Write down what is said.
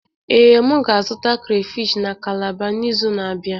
Ee, m ga-azụta krayfish na kalabar n'izu na-abịa?